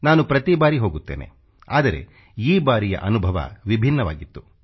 ನಾನು ಪ್ರತಿ ಬಾರಿ ಹೋಗುತ್ತೇನೆ ಆದರೆ ಈ ಬಾರಿಯ ಅನುಭವ ವಿಭಿನ್ನವಾಗಿತ್ತು